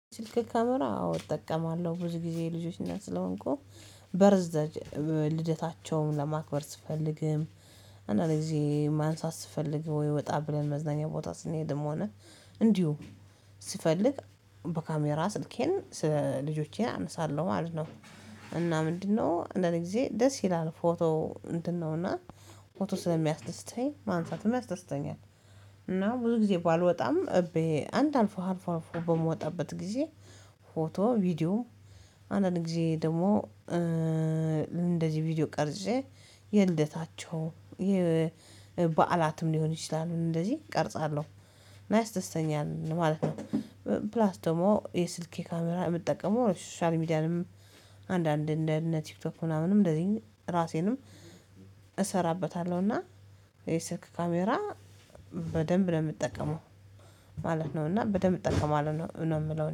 ስልክ ካሜራ አዎ እጠቀማለሁ ብዙ ጊዜ የልጆች እናት ስለሆንኩ በርዝደጅ ልደታቸውን ለማክበር ስፈልግም አንዳንዴ ጊዜ ማንሳት ስፈልግ ወይ ወጣ ብለን መዝናኛ ቦታ ስንሄድም ሆነ እንዲሁ ስፈልግ በካሜራ ስልኬን ስለ ልጆቼን አነሳለሁ ማለት ነው። እና ምንድነው እንዳንድ ጊዜ ደስ ይላል ፎቶ ምንድነው እና ፎቶ ስለሚያስደስተኝ ማንሳትም ያስደስተኛል። እና ብዙ ጊዜ ባልወጣም እቤ አንድ አልፎ አልፎ አልፎ በምወጣበት ጊዜ። ፎቶ ቪዲዮ አንዳንድ ጊዜ ደግሞ። እንደዚህ ቪዲዮ ቀርጬ የልደታቸው የ በዓላትም ሊሆን ይችላሉ እንደዚህ ቀርጻለሁ እና ያስደስተኛል ማለት ነው። ፕላስ ደግሞ የስልኬ ካሜራ የምጠቀመው ለሶሻል ሚድያንም። አንዳንድ እንደነ ቲክቶክ ምናምንም እንደዚ ራሴንም እሰራበታለሁና። የ ስልክ ካሜራ በደንብ ነው የምጠቀመው ማለት ነው። እና በደንብ እጠቀማለሁ ነው የምለው